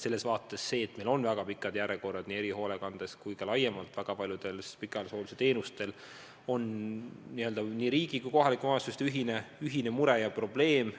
See, et meil on väga pikad järjekorrad nii erihoolekandes kui ka laiemalt väga paljude pikaajalise hoolduse teenuste saamiseks, on riigi ja kohalike omavalitsuste ühine mure ja probleem.